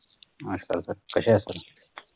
नमस्कार Sir कशे आहेत तुम्ही